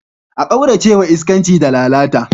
A kaurace wa iskanci da lalata.